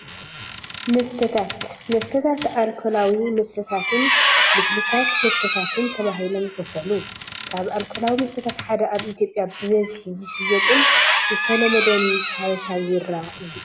መስተታት፡- መስተታት ኣልኮላዊ መስተታትን ልስሉሳት መስተታትን ተባሂሎም ይኽፈሉ፡፡ ካብ ኣልኮላዊ መስተታት ሓደ ኣብ ኢ/ያ ብበዝሒ ዝሽየጥን ዝተለመደን ሐበቫ ቢራ እዩ፡፡